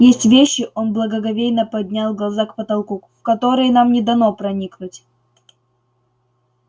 есть вещи он благоговейно поднял глаза к потолку в которые нам не дано проникнуть